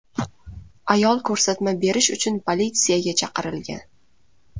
Ayol ko‘rsatma berish uchun politsiyaga chaqirilgan.